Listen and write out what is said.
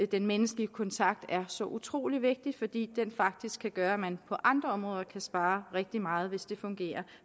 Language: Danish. den menneskelige kontakt er så utrolig vigtigt fordi det faktisk kan gøre at man på andre områder kan spare rigtig meget hvis det fungerer